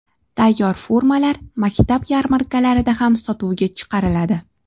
Tayyor formalar maktab yarmarkalarida ham sotuvga chiqariladi.